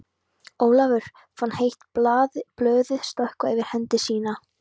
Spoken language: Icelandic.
Ólafur fann heitt blóðið stökkva yfir hendi sína.